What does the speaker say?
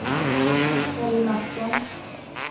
Elly Mattsson